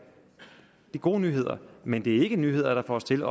gode nyheder men det er ikke nyheder der får os til at